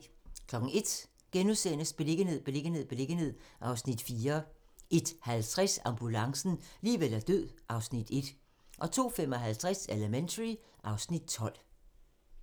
01:00: Beliggenhed, beliggenhed, beliggenhed (Afs. 4)* 01:50: Ambulancen - liv eller død (Afs. 1) 02:55: Elementary (Afs. 12)